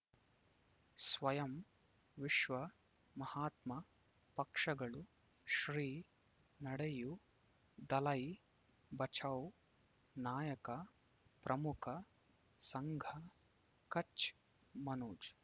ಸ್ವಯಂ ವಿಶ್ವ ಮಹಾತ್ಮ ಪಕ್ಷಗಳು ಶ್ರೀ ನಡೆಯೂ ದಲೈ ಬಚೌ ನಾಯಕ ಪ್ರಮುಖ ಸಂಘ ಕಚ್ ಮನೋಜ್